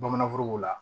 Bamananforokow la